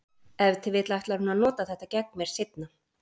Ef til vill ætlar hún að nota þetta gegn mér seinna.